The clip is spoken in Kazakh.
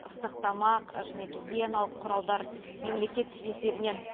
ыстық тамақ және гигиеналық құралдар мемлекет есебінен